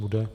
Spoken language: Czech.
Bude.